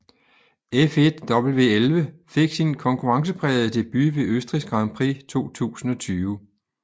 F1 W11 fik sin konkurrenceprægede debut ved Østrigs Grand Prix 2020